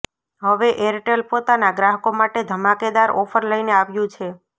હવે એરટેલ પોતાના ગ્રાહકો માટે ધમાકેદાર ઑફર લઇને આવ્યું છે